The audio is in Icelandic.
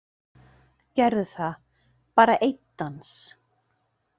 Gerðu það, bara einn dans.